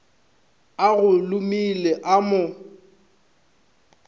o go lemile o mo